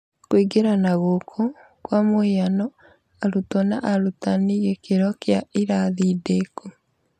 Kũingĩrana gũkũ, kwa mũhiano, arutwo ' na arutani ' gĩkĩro kĩa irathi ndĩku